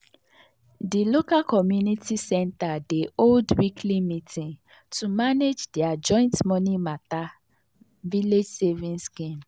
the local community center dey hold weekly meeting to manage their joint money matter village savings scheme.